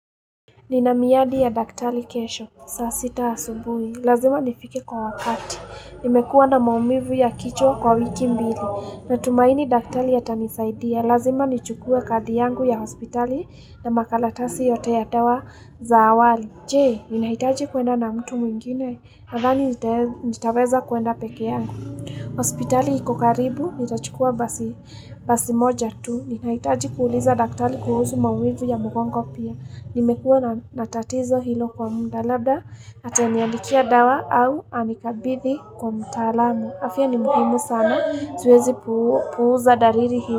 Nina miadi ya daktari kesho, saa sita asubuhi. Lazima nifike kwa wakati. Nimekuwa na maumivu ya kichwa kwa wiki mbili. Natumaini daktari ya atanisaidia. Lazima nichukue kadi yangu ya hospitali na makaratasi yote ya dawa za awali. Je, ninahitaji kuenda na mtu mwingine, nadhani nitaweza kuenda peke yangu. Hospitali iko karibu, nitachukua basi moja tu. Ninahitaji kuuliza daktari kuhusu maumivu ya mgongo pia. Nimekuwa na tatizo hilo kwa muda labda ataniandikia dawa au anikabidhi kwa mtaalamu afya ni muhimu sana siwezi puuza dalili hizi.